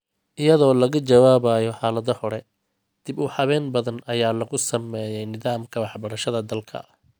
Iyadoo laga jawaabayo xaaladda hore, dib-u-habeyn badan ayaa lagu sameeyay nidaamka waxbarashada dalka.